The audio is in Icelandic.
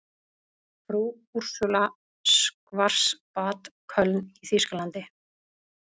Frú Úrsúla Schwarzbad, Köln í þýskalandi.